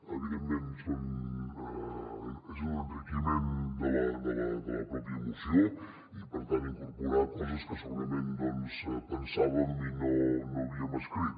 evidentment és un en·riquiment de la pròpia moció i per tant incorporar coses que segurament pensàvem i no havíem escrit